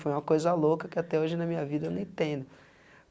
Foi uma coisa louca que até hoje na minha vida eu não entendo.